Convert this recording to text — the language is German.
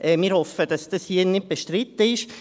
Wir hoffen, dass das hier nicht bestritten ist.